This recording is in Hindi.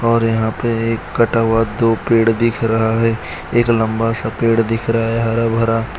और यहां पे एक कटा हुआ दो पेड़ दिख रहा है एक लंबा सा पेड़ दिख रहा है हरा भरा।